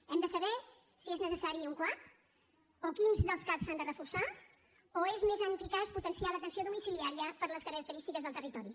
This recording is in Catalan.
hem de saber si és necessari un cuap o quins dels cap s’han de reforçar o és més eficaç potenciar l’atenció domiciliària per les característiques del territori